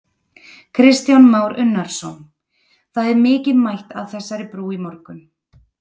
Kristján Már Unnarsson: Það er mikið mætt að þessari brú í morgun?